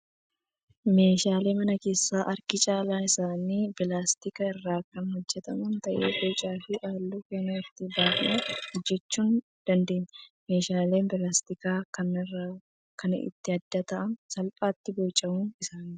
Meeshaaleen mana keessaa harki caalaan isaanii pilaastika irraa kan hojjataman ta'ee bocaa fi halluu feene itti baafnee hojjatachuu dandeenya. Meeshaaleen pilaastikaa kaan irraa kan ittiin adda ta'an salphaatti bocamuu isaaniiti.